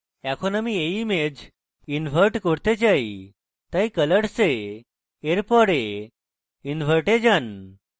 এখন আমি এই image invert করতে চাই তাই colours এ এর পরে invert যান